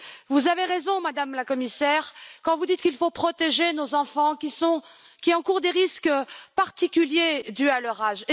Vous avez raison, Madame la Commissaire, quand vous dites qu'il faut protéger nos enfants, qui encourent des risques particuliers dus à leur âge.